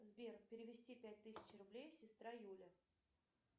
сбер перевести пять тысяч рублей сестра юля